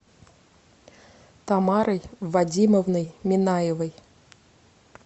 тамарой вадимовной минаевой